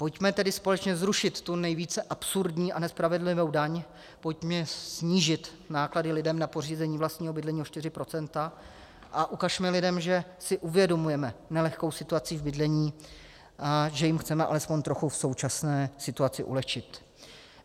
Pojďme tedy společně zrušit tu nejvíce absurdní a nespravedlivou daň, pojďme snížit náklady lidem na pořízení vlastního bydlení o 4 % a ukažme lidem, že si uvědomujeme nelehkou situaci v bydlení, že jim chceme alespoň trochu v současné situaci ulehčit.